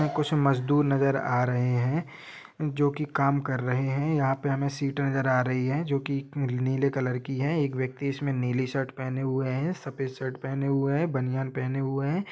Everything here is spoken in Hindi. कुछ मजदूर नजर आ रहे है जो की काम कर रहे है यहाँ पे हमें सीट नजर आ रही है जो की नीले कलर की है एक व्यक्ति इसमें नीली शर्ट पहने हुए है सफ़ेद शर्ट पहने हुए है बनियान पहने हुए है।